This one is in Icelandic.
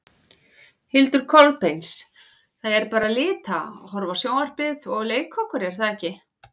Hildur Kolbeins: Það er bara lita, horfa á sjónvarpið og leika okkur er það ekki?